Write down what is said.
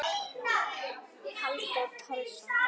Halldór Pálsson